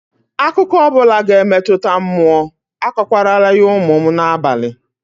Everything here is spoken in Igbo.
Akụkọ ọ bụla ga-emetụta mmụọ, akọkwarala ya ụmụ m n'abalị